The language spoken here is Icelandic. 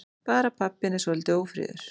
Bara pabbinn er svolítið ófríður.